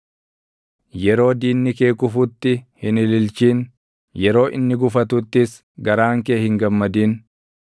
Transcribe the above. Yeroo diinni kee kufutti hin ililchin; yeroo inni gufatuttis garaan kee hin gammadin;